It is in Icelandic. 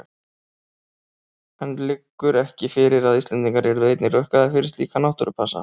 En liggur ekki fyrir að Íslendingar yrðu einnig rukkaðir fyrir slíka náttúrupassa?